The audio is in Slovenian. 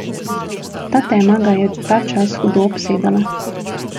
Ta tema ga je ta čas hudo obsedala.